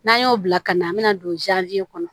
N'an y'o bila ka na an bɛna don kɔnɔ